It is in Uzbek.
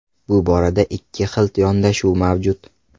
Bu borada ikki xil yondashuv mavjud.